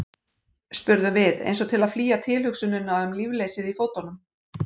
spurðum við, eins og til að flýja tilhugsunina um lífleysið í fótunum.